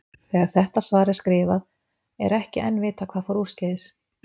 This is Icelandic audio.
Þegar þetta svar er skrifað, er ekki enn vitað hvað fór úrskeiðis.